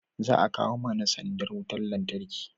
za a kawo mana sandar wutar lantarki